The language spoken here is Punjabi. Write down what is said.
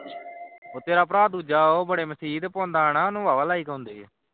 ਉਹ ਤੇਰਾ ਭਰਾ ਦੂਜਾ ਬੜੇ ਮਸੀਹ ਪਾਂਦਾ ਹਾਂ ਉਸ ਨੂੰ ਬੜੇ like ਉਂਦੇ ਨੇ